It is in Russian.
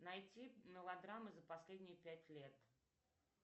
найти мелодрамы за последние пять лет